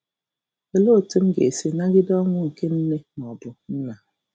Olee Otú M Ga-esi Nagide Ọnwụ nke Nne ma ọ bụ nna?